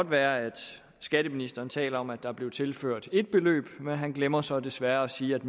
være at skatteministeren taler om at der blev tilført et beløb men han glemmer så desværre at sige at